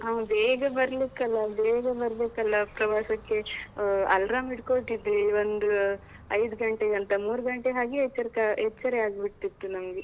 ಹೌದು, ಬೇಗಾ ಬರ್ಲಿಕಲ್ಲಾ, ಬೇಗಾ ಬರ್ಬೇಕಲ್ಲಾ ಪ್ರವಾಸಕ್ಕೆ. ಆ alarm ಇಟ್ಕೊಳ್ತಿದಿವಿ. ಒಂದು ಐದು ಗಂಟೆಗಂತ, ಮೂರು ಗಂಟೆ ಹಾಗೆ ಎಚ್ಚರಿಕ ಎಚ್ಚರಿ ಆಗ್ಬಿತಿತ್ತು ನಮ್ಗೆ.